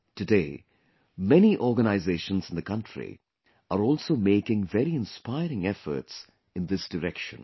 Today, many organizations in the country are also making very inspiring efforts in this direction